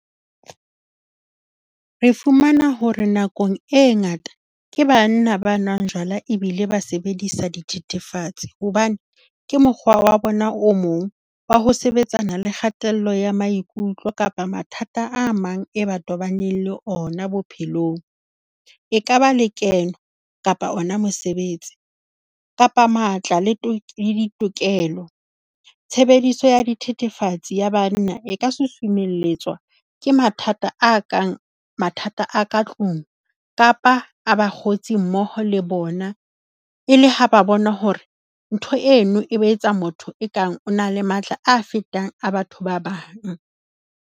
Re fumana hore nakong e ngata ke banna ba nwang jwala ebile ba sebedisa dithethefatsi hobane ke mokgwa wa bona o mong wa ho sebetsana le kgatello ya maikutlo kapa mathata a mang, e ba tobaneng le ona bophelong. Ekaba lekeno kapa ona mosebetsi kapa matla le ditokelo. Tshebediso ya dithethefatsi ya banna e ka susumeletswa ke mathata a kang mathata a ka tlung kapa a bakgotsi mmoho le bona, e le ha ba bona hore ntho eno e ba etsa motho e kang motho o na le matla a fetang a batho ba bang.